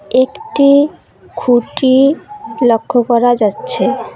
একটি খুঁটি লক্ষ্য করা যাচ্ছে।